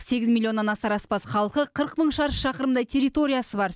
сегіз милионнан асар аспас халқы қырық мың шаршы шақырымдай территориясы бар